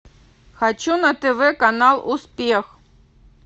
хочу на тв канал успех